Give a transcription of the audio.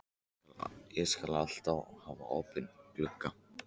Ég skal alltaf hafa opinn gluggann.